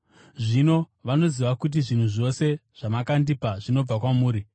Zvino vanoziva kuti zvinhu zvose zvamakandipa zvinobva kwamuri.